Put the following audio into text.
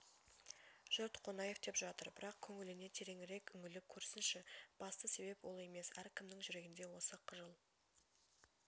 жұрт қонаев деп жатыр бірақ көңіліне тереңірек үңіліп көрсінші басты себеп ол емес әркімнің жүрегінде осы қыжыл